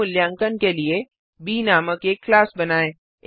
स्व मूल्यांकन के लिए ब नामक एक क्लास बनाएँ